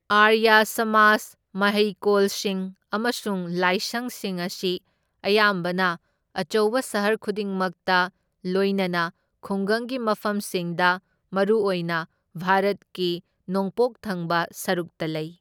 ꯑꯥꯔꯌꯥ ꯁꯃꯥꯖ ꯃꯍꯩꯀꯣꯜꯁꯤꯡ ꯑꯃꯁꯨꯡ ꯂꯥꯏꯁꯪꯁꯤꯡ ꯑꯁꯤ ꯑꯌꯥꯝꯕꯅ ꯑꯆꯧꯕ ꯁꯍꯔ ꯈꯨꯗꯤꯡꯃꯛꯇ ꯂꯣꯏꯅꯅ ꯈꯨꯡꯒꯪꯒꯤ ꯃꯐꯝꯁꯤꯡꯗ, ꯃꯔꯨꯑꯣꯏꯅ ꯚꯥꯔꯠꯀꯤ ꯅꯣꯡꯄꯣꯛ ꯊꯪꯕ ꯁꯔꯨꯛꯇ ꯂꯩ꯫